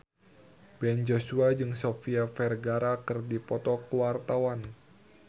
Ben Joshua jeung Sofia Vergara keur dipoto ku wartawan